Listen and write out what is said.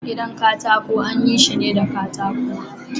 Gidan katako anyi shine da katako.